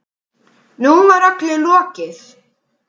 Nú var öllu lokið.